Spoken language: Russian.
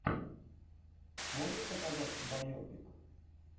можешь показать байопик